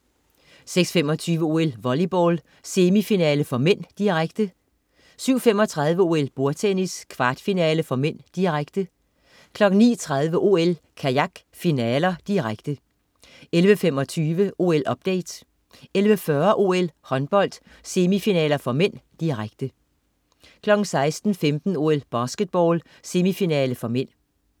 06.25 OL: Volleyball, semifinale (m), direkte 07.35 OL: Bordtennis, kvartfinale (m), direkte 09.30 OL: Kajak, finaler, direkte 11.25 OL-update 11.40 OL: Håndbold, semifinaler (m), direkte 16.15 OL: Basketball, semifinale (m)